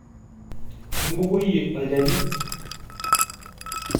Imbukoyie olchani?